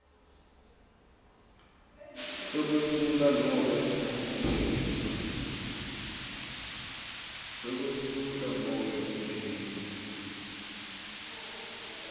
sekwesula nobe kuphelisa